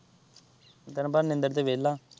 ਤੈਨੂੰ ਪਤਾ ਨਿੰਦਰ ਤੇ ਵਿਹਲਾ।